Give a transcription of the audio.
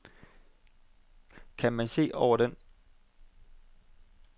Kan man se over den.